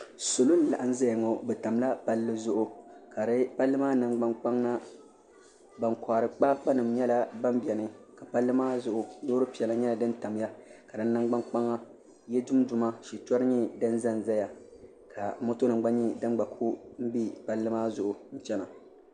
Salo n laɣam ʒɛya ŋo bi tamla palli zuɣu palli maa nangbani kpaŋa ban kohari kpaakpa nim nyɛla ban bɛni ka palli maa zuɣu loori piɛla nyɛla din tamya ka di nangbani kpaŋa yili tumtoma shitori nyɛ din ʒɛnʒɛya ka moto nim gba ku bɛ palli maa zuɣu chɛna